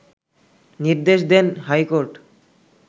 নির্দেশ দেন হাইকোর্ট